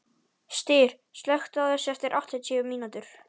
Styr, slökktu á þessu eftir áttatíu mínútur.